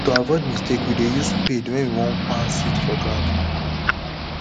to avoid mistake we dey use spade wen we won plant seed for ground